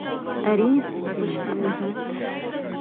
әрине почтамен мхм